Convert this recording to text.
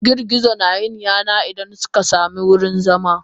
Girgizo nayin yana Idan suka samu wurin zama.